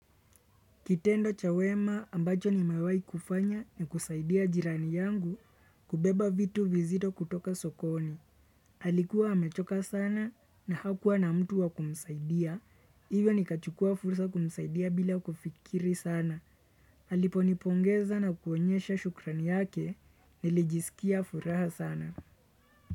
Kitendo cha wema ambacho nimewahi kufanya ni kusaidia jirani yangu kubeba vitu vizito kutoka sokoni. Alikuwa amechoka sana na hakuwa na mtu wa kumsaidia. Iwe nikachukua fursa kumsaidia bila kufikiri sana. Alipo nipongeza na kuonyesha shukrani yake nilijisikia furaha sana.